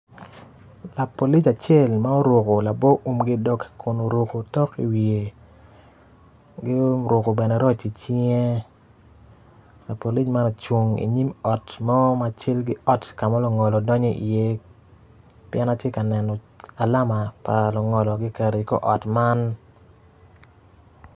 Lapolic acel ma oruko labo uum ki dog kun oruko otok iwiye ki oruko bene roc icinge lapolic man ocung inyim ot mo ka ma lungolo gidonyo iye pien atye ka neno alama pa lungolo kiketo i kor ot man.